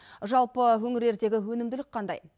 жалпы өңірлердегі өнімділік қандай